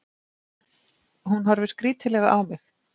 Hún horfir skrítilega á mig.